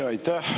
Aitäh!